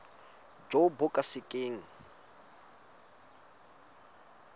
jo bo ka se keng